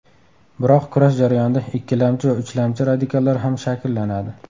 Biroq kurash jarayonida ikkilamchi va uchlamchi radikallar ham shakllanadi.